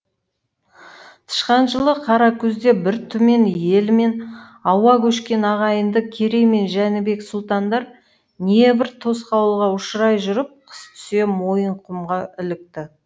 тышқан жылы қара күзде бір түмен елімен ауа көшкен ағайынды керей мен жәнібек сұлтандар не бір тосқауылға ұшырай жүріп қыс түсе мойынқұмға ілікті